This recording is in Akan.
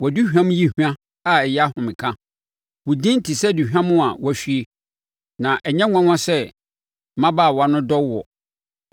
Wʼaduhwam yi hwa a ɛyɛ ahomeka wo din te sɛ aduhwam a wɔahwie. Na ɛnyɛ nwanwa sɛ mmabaawa no dɔ woɔ!